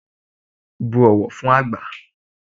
Bu ọ̀wọ̀ fún àgbà